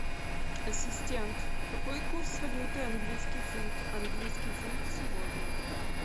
ассистент какой курс валюты английский фунт английский фунт сегодня